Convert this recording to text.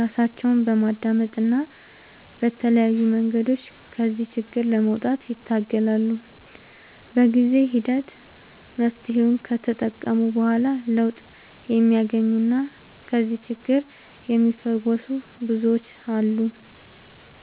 ራሳቸውን በማዳመጥ እና በተለያዩ መንገዶች ከዚህ ችግር ለመውጣት ይታገላሉ። በጊዜ ሂደት መፍትሔውን ከተጠቀሙ በኋላ ለውጥ የሚያገኙና ከዚህ ችግር የሚፈወሱ ብዙዎች አሉ።